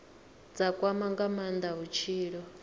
dza kwama nga maanda vhutshilo